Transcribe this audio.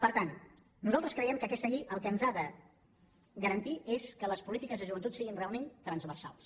per tant nosaltres creiem que aquesta llei el que ens ha de garantir és que les polítiques de joventut siguin realment transversals